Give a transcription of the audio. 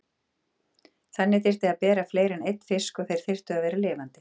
Þannig þyrfti að bera fleiri en einn fisk og þeir þyrftu að vera lifandi.